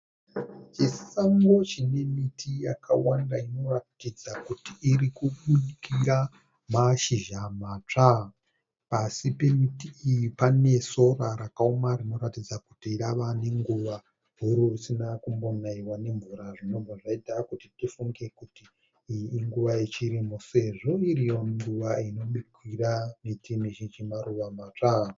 Chisango chine miti yakawanda inoratidza kuti iri kubukira mashizha matsva. Pasi pemiti iyi pane sora rakaoma rinoratidza kuti rava nenguva huru risina kumbonaiwa nemvura zvinobva zvaita kuti tifunge kuti iyi inguva yechirimo sezvo iriyo nguva inobukira miti mizhinji maruva matsva.